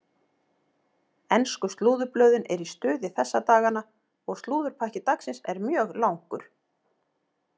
Ensku slúðurblöðin eru í stuði þessa dagana og slúðurpakki dagsins er mjög langur.